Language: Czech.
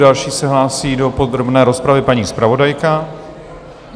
Další se hlásí do podrobné rozpravy paní zpravodajka.